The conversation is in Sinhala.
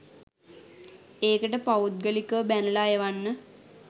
ඒකට පෞද්ගලිකව බැනලා එවන්න.